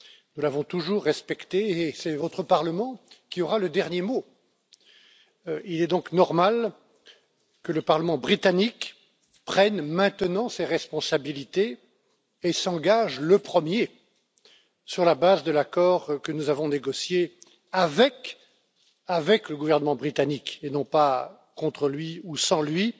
Nous l'avons toujours respecté et c'est votre Parlement qui aura le dernier mot. Il est donc normal que le Parlement britannique prenne maintenant ses responsabilités et s'engage le premier sur la base de l'accord que nous avons négocié avec le gouvernement britannique et non pas contre lui ou sans lui